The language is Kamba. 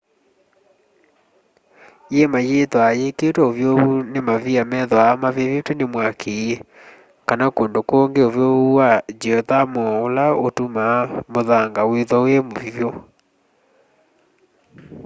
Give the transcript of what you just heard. yiima yithwaa yikiitwe uvyuvu ni mavia methwaa mavivitw'e ni mwaki kana kundu kungi uvyuvu wa ngyiothamo ula utumaa muthanga withwa wi muvyu